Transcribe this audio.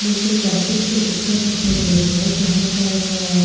मुझे एक ऑफिस की पिक्चर दिखाई दे रही है जहां पर --